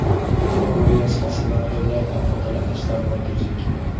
Bahor va yoz fasllarida ulardan foydalanish zarurati yuzaga keladi.